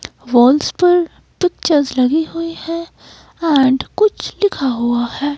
Walls पर pictures लगी हुई है एंड कुछ लिखा हुआ है।